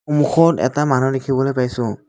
সন্মুখত এটা মানুহ দেখিবলৈ পাইছোঁ।